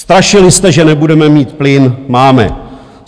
Strašili jste, že nebudeme mít plyn - máme.